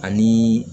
Ani